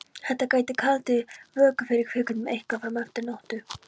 Þetta gæti haldið vöku fyrir kvikindinu eitthvað fram eftir nóttu.